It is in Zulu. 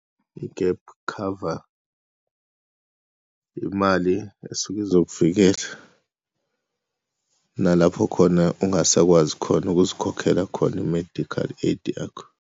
I-gap cover imali esuke izokuvikela nalapho khona ungasakwazi khona ukuzikhokhela khona i-medical aid yakho.